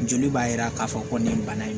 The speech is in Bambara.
Joli b'a jira k'a fɔ ko nin ye bana ye